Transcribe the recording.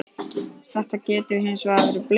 Þetta getur hins vegar blekkt.